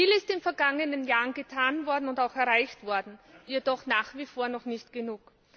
Viel ist in den vergangenen Jahren getan und auch erreicht worden, jedoch nach wie vor noch nicht genug.